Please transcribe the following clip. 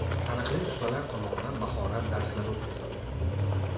Taniqli ustalar tomonidan mahorat darslari o‘tkazildi.